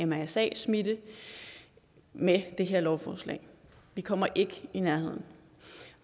med mrsa smitte med det her lovforslag vi kommer ikke i nærheden